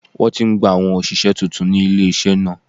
Wọ́n ti ń gba àwọn òṣìṣẹ́ tuntun ní ilé-iṣẹ́ náà